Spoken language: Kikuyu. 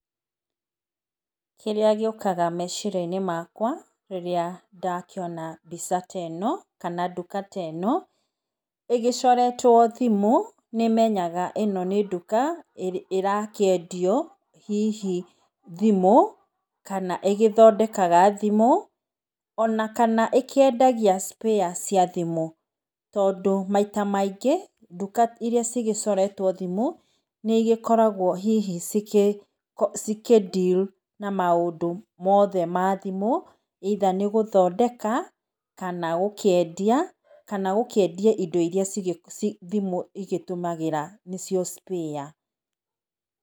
Kirĩa gĩũkaga meciria-inĩ makwa rĩrĩa ndakĩona mbica teno, kana nduka teno, ĩgĩcoretwo thimũ, nĩ menyaga ĩno nĩ nduka ĩra kĩendio hihi thimũ kana ĩgĩthondekaga thimũ ona kana ĩkĩendagia spair cia thimũ tondũ maita maingĩ nduka ĩrĩa cigĩcoretwo thimũ nĩ ĩgĩkoragwo hihi cikĩndiru na maũndũ mothe mathimũ, ĩitha nĩ gũthondeka kana gũkĩendia indo iria thimũ igĩtũmagĩra nĩcio spair.